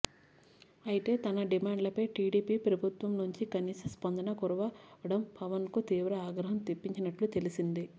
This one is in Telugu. అయితే తన డిమాండ్లపై టిడిపి ప్రభుత్వం నుంచి కనీస స్పందన కరువవడం పవన్ కు తీవ్ర ఆగ్రహం తెప్పించినట్లు తెలిసింది